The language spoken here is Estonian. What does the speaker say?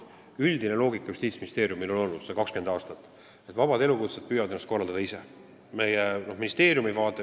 Üldine loogika on Justiitsministeeriumil 20 aastat olnud, et vabad elukutsed püüavad ennast ise korraldada.